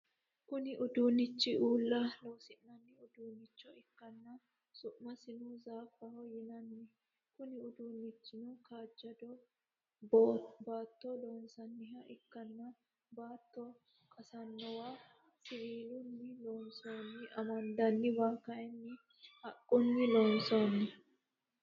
Kunni uduunichi uula loosi'nanni uduunicho ikanna su'masino zaafaho yinnanni konni uduunnichinni kaajado bootto loonsanniha ikanna baatto qasanowa siwiilunni loonsoonni amandanniwa kayinni haqunni loonsoonni.